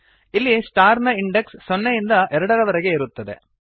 ಇಲ್ಲಿ ಸ್ಟಾರ್ ನ ಇಂಡೆಕ್ಸ್ ಸೊನ್ನೆಯಿಂದ ಎರಡರವರೆಗೆ ಇರುತ್ತದೆ